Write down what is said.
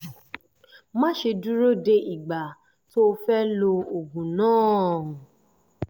má ṣe dúró de ìgbà tó o fẹ́ lo oògùn náà